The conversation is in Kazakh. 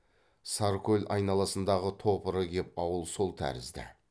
саркөл айналасындағы топыры кеп ауыл сол тәрізді